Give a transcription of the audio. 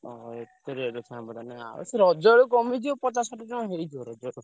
ଓହୋ, ଏତେ rate ଅଛି ତାହେଲେ ନା। ରଜ ବେଳକୁ କମିଯିବ ପଚାଶ ଷାଠିଏ ଟଙ୍କା ହେଇଯିବ ରଜ ବେଳକୁ।